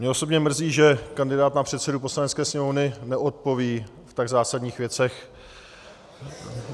Mě osobně mrzí, že kandidát na předsedu Poslanecké sněmovny neodpoví v tak zásadních věcech.